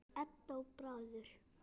Edda og Bárður.